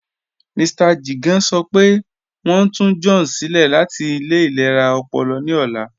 Mr Jigan sọ́ pẹ̀ wọ́n n tù John silẹ̀ láti ilẹ̀ ilẹ̀ra ọ̀pọ̀lọ̀ ní ọ̀lá